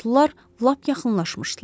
Atlılar lap yaxınlaşmışdılar.